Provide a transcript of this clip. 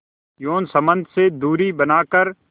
यौन संबंध से दूरी बनाकर